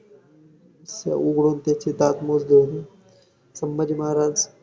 उघडून त्याचे दांत मोजले होते, संभाजी महाराज